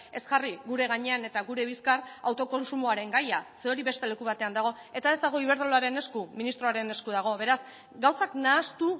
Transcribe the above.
ez jarri gure gainean eta gure bizkar autokontsumoaren gaia ze hori beste leku batean dago eta ez dago iberdrolaren esku ministroaren esku dago beraz gauzak nahastu